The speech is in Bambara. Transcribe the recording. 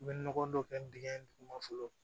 U bɛ nɔgɔ dɔ kɛ dingɛ in duguma fɔlɔ